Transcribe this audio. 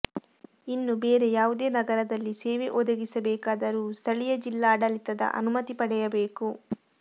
ಇನ್ನು ಬೇರೆ ಯಾವುದೇ ನಗರದಲ್ಲಿ ಸೇವೆ ಒದಗಿಸಬೇಕಾದರೂ ಸ್ಥಳೀಯ ಜಿಲ್ಲಾಡಳಿತದ ಅನುಮತಿ ಪಡೆಯಬೇಕು